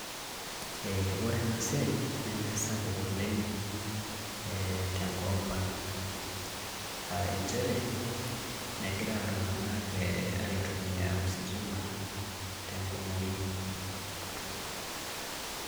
Eeh wore ena siai, nemesapuk oleng' eh tenkop ang'. Aah nchere, mekira iltunganak eeh aitumia ositima tenkumoi.